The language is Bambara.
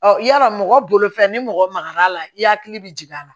Ɔ yarɔ mɔgɔ bolo fɛn ni mɔgɔ magara a la i hakili bɛ jigin a la